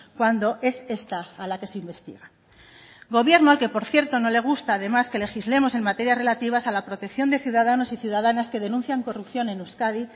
cuando es esta a la que se investiga gobierno al que por cierto no le gusta además que legislemos en materias relativas a la protección de ciudadanos y ciudadanas que denuncian corrupción en euskadi